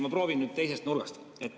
Ma proovin nüüd teisest nurgast.